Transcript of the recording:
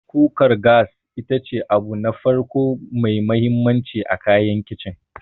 Kukar gas ita ce abu na farko mai mahimmanci a kayan Kicin.